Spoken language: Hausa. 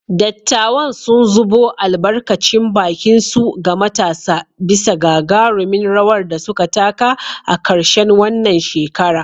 Dattawan sun zubo albarkacin bakinsu ga matasa bisa gagarumin rawar da suka taka a karshen wannan shekara.